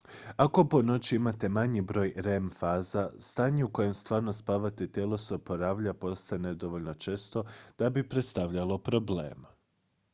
ako po noći imate manji broj rem faza stanje u kojem stvarno spavate i tijelo se oporavlja postaje nedovoljno često da bi predstavljalo problem